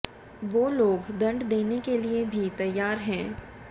वे लोग दंड देने के लिए भी तैयार हैं